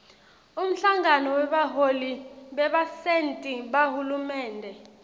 umhlangano webaholi bebasenti bahulumende